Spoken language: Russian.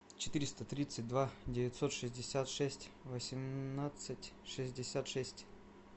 четыреста тридцать два девятьсот шестьдесят шесть восемнадцать шестьдесят шесть